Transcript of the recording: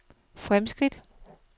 fremskridt